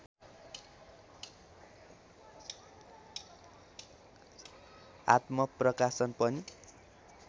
आत्मप्रकाशन पनि